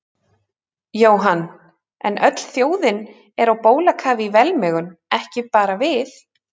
Jóhann, en öll þjóðin er á bólakafi í velmegun, ekki bara við